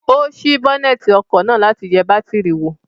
Ó sí bọ́nẹ̀tì ọkọ̀ náà láti yẹ bátìrì wò.